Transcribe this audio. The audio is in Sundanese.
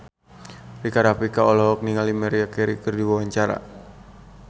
Rika Rafika olohok ningali Maria Carey keur diwawancara